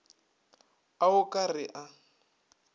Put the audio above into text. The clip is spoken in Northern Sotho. a o ka re a